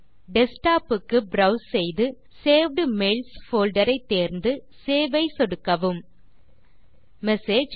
desktop க்கு browse செய்து saved mails folder ஐ தேர்ந்து சேவ் ஐ சொடுக்கவும் மெசேஜ்